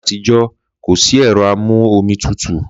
Làyé àtíjọ̀ kosi ẹrọ àmú òmí tùtú.